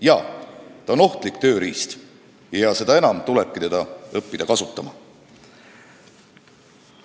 Jaa, ta on ohtlik tööriist ja seda enam tuleb teda õppida kasutama.